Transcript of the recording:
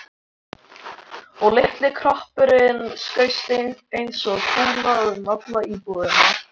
Og litli kroppurinn skaust eins og kúla um alla íbúðina.